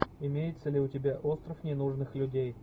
имеется ли у тебя остров ненужных людей